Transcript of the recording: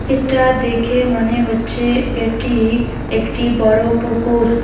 এটা দেখে মনে হচ্ছে এটি একটি বড়ো পুকুর।